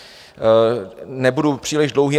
Nebudu příliš dlouhý.